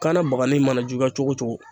Kanna bagani mana juguya cogo o cogo